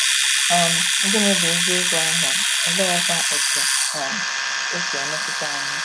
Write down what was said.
um Gịnị bụ eziokwu ahụ, oleekwa otú um o si emetụta anyị?